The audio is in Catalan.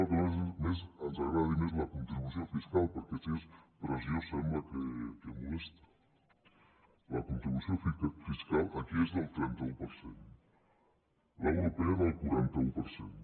encara que ens agradi més la contribució fiscal perquè si és pressió sembla que molesta la contribució fiscal aquí és del trenta un per cent l’europea del quaranta un per cent